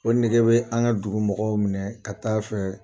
O nege bɛ an ka dugu mɔgɔw minɛ ka taa fɛ.